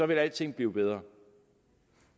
vil alting blive bedre